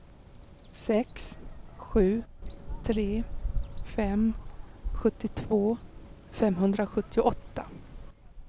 sex sju tre fem sjuttiotvå femhundrasjuttioåtta